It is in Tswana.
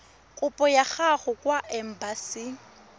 kopo ya gago kwa embasing